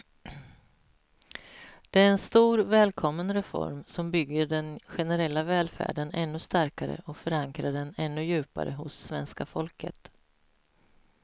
Det är en stor, välkommen reform som bygger den generella välfärden ännu starkare och förankrar den ännu djupare hos svenska folket.